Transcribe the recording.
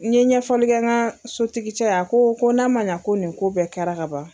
N ye ɲɛfɔlikɛ ka sotigi cɛ ye, a ko ko n'a ma ɲɛ ko nin ko bɛɛ kɛra ka ban.